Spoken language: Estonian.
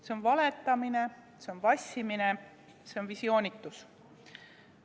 See on valetamine, vassimine, visioonitus.